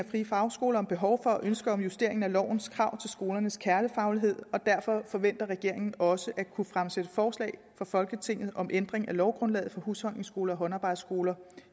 friefagskoler om behov for og ønsker om justering af lovens krav til skolernes kernefaglighed og derfor forventer regeringen også at kunne fremsætte forslag for folketinget om ændring af lovgrundlaget for husholdningsskoler og håndarbejdsskoler